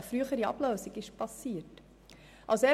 Die Ablösung konnte also früher stattfinden.